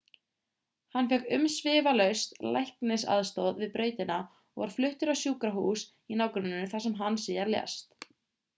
hann fékk umsvifalaust læknisaðstoð við brautina og var fluttur á sjúkrahús í nágrenninu þar sem hann síðar lést